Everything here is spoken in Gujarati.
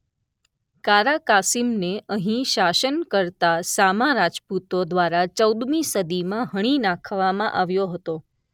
કારા કાસીમને અહીં શાસન કરતા સામા રાજપૂતો દ્વારા ચૌદમી સદીમાં હણી નાખવામાં આવ્યો હતો.